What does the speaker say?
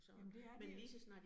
Jamen det er den